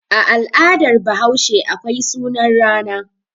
A al'adar Bahaushe akwai sunan rana.